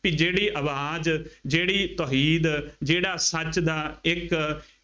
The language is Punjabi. ਬਈ ਜਿਹੜੀ ਆਵਾਜ਼ ਜਿਹੜੀ ਤੋਹੀਦ ਜਿਹੜਾ ਸੱਚ ਦਾ ਇੱਕ